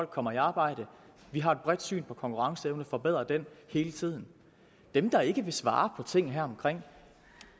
kommer i arbejde vi har et bredt syn på konkurrenceevne forbedre den hele tiden dem der ikke vil svare på tingene herom